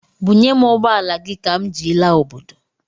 Bunyem ụgbọala gị ka m ji laa obodo!